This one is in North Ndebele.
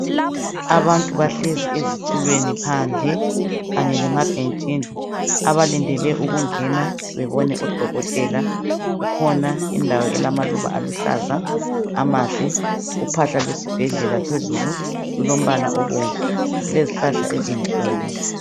Abantu bahlezi ezitulweni phandle kanye lemabhentshini, abalindele ukungena bebone odokotela. Kukhona indawo elamaluba aluhlaza amahle. Uphahla lwesibhedlela phezulu lulombala obomvu, kulezihlahla ezinkulu.